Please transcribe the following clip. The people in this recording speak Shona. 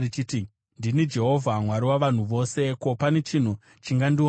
“Ndini Jehovha, Mwari wavanhu vose. Ko, pane chinhu chingandiomera here?